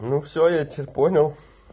ну все я тебя понял